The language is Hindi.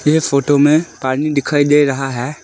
ये फोटो में पानी दिखाई दे रहा है।